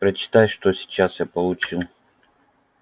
прочитай что сейчас я получил